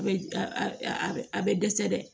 A bɛ a bɛ a bɛ dɛsɛ dɛ